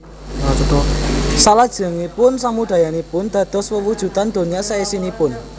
Salajengipun samudayanipun dados wewujudan donya saisinipun